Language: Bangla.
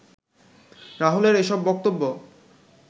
রাহুলের এসব বক্তব্য